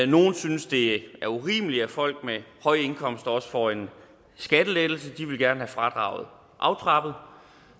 nogle synes det er urimeligt at folk med høje indkomster også får en skattelettelse så de ville gerne have fradraget aftrappet